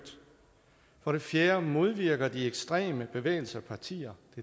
for det fjerde modvirker ekstreme bevægelser og partier